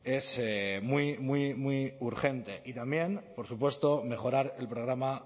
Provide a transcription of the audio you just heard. es muy muy muy urgente y también por supuesto mejorar el programa